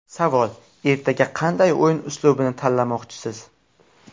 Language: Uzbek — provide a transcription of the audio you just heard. Savol: Ertaga qanday o‘yin uslubini tanlamoqchisiz?